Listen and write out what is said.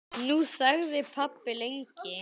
Nú þagði pabbi lengi.